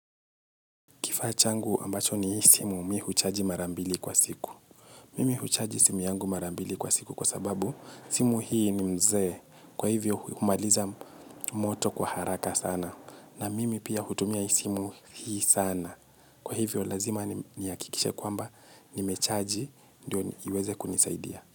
Kifaa changu ambacho nihii simu, mi huchaji marambili kwa siku. Mimi huchaji simu yangu marambili kwa siku kwa sababu simu hii ni mzee, kwa hivyo humaliza moto kwa haraka sana. Na mimi pia hutumia simu hii sana. Kwa hivyo lazima nihakikishe kwamba nimechaji, ndio iweze kunisaidia.